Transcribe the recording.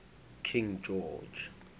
king george